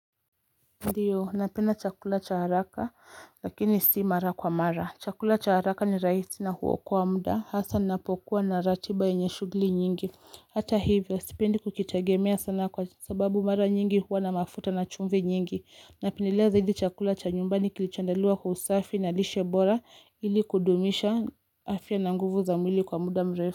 Ndiyo napenda chakula cha haraka lakini si mara kwa mara. Chakula cha haraka ni raisi na huokoa muda hasa ninapokuwa na ratiba yenye shughuli nyingi. Hata hivyo sipendi kukitegemea sana kwasababu mara nyingi huwa na mafuta na chumvi nyingi. Napendelea zaidi chakula cha nyumbani kilichoandaliwa kwa usafi na lishe bora ili kudumisha afya na nguvu za mwili kwa muda mrefu.